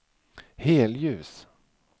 helljus